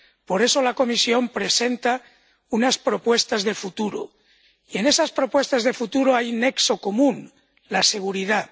por eso, la Comisión presenta unas propuestas de futuro, y en esas propuestas de futuro hay un nexo común la seguridad.